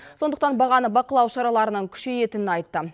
сондықтан бағаны бақылау шараларының күшейетінін айтты